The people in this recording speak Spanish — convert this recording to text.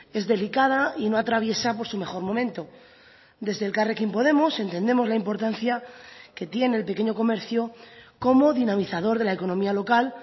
es delicada y no atraviesa por su mejor momento desde elkarrekin podemos entendemos la importancia que tiene el pequeño comercio como dinamizador de la economía local